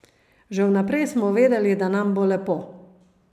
Že vnaprej smo vedeli, da nam bo lepo.